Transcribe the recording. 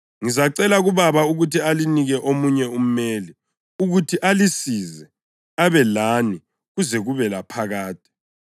Ngizacela kuBaba ukuthi alinike omunye umeli ukuthi alisize abe lani kuze kube laphakade,